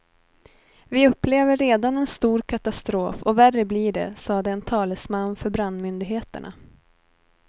Vi upplever redan en stor katastrof och värre blir det, sade en talesman för brandmyndigheterna.